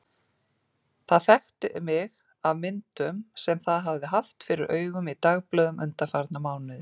Það þekkti mig af myndum sem það hafði haft fyrir augunum í dagblöðum undanfarna mánuði.